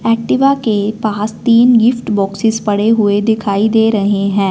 Activa के पास तीन गिफ्ट बॉक्सेस पड़े हुए दिखाई दे रहे हैं।